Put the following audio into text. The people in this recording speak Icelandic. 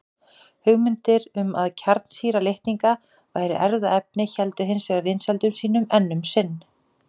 Hugmyndir um að kjarnsýra litninga væri erfðaefni héldu hins vegar vinsældum sínum enn um sinn.